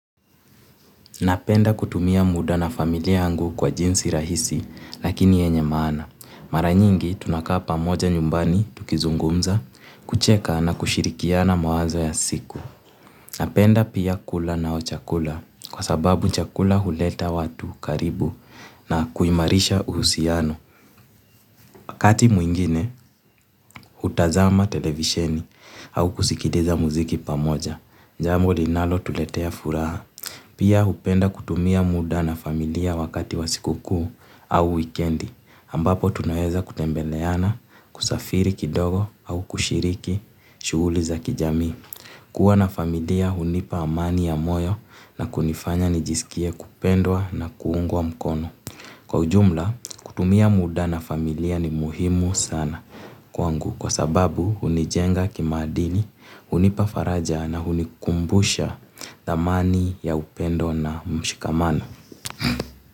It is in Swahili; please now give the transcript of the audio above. Napenda kutumia muda na familia yangu kwa jinsi rahisi lakini yenye maana. Mara nyingi tunakaapa moja nyumbani tukizungumza kucheka na kushirikiana mawazo ya siku. Napenda pia kula na ochakula kwa sababu chakula huleta watu karibu na kuimarisha uhusiano. Wakati mwingine, hutazama televisheni au kusikiliza muziki pamoja. Jamboli nalo tuletea furaha. Pia hupenda kutumia muda na familia wakati wasikukuu au wikendi. Ambapo tunaweza kutembeleana, kusafiri kidogo au kushiriki, shughuli za kijamii. Kua na familia hunipa amani ya moyo na kunifanya nijisikie kupendwa na kuungwa mkono. Kwa ujumla, kutumia muda na familia ni muhimu sana. Kwa ngu kwa sababu hunijenga kima adili, hunipafaraja na hunikumbusha dhamani ya upendo na mshikamano.